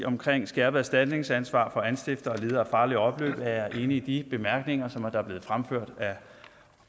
skærpet erstatningsansvar for anstiftere og ledere af farlige opløb er jeg enig i de bemærkninger som er blevet fremført af